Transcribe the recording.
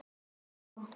Það kom